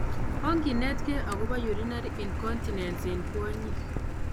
Onginetkei akobo urinary incontinence en kwonyik